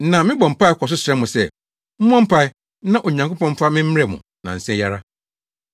Na mebɔ mpae kɔ so srɛ mo sɛ, mommɔ mpae na Onyankopɔn mfa me mmrɛ mo nnansa yi ara.